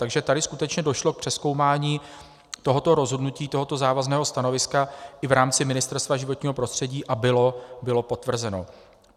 Takže tady skutečně došlo k přezkoumání tohoto rozhodnutí, tohoto závazného stanoviska, i v rámci Ministerstva životního prostředí a bylo potvrzeno.